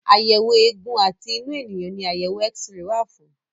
Àyẹ̀wò eégún àti inú ènìyàn ní àyẹ̀wò X-ray wà fún.